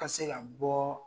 Ka se ka bɔ